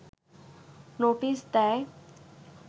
notice দেয়